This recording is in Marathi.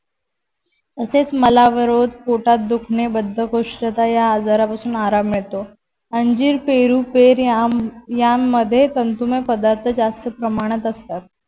असेच मलावरोध, पोटात दुखणे, बद्धकोष्ठता या आजारापासून आराम मिळतो. अंजीर पेरू पेरयाम यान मध्ये तंतुमय पदार्थ जास्त असतात.